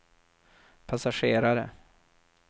passagerare